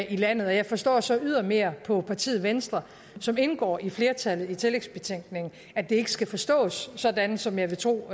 i landet jeg forstår så ydermere på partiet venstre som indgår i flertallet i tillægsbetænkningen at det ikke skal forstås sådan som jeg vil tro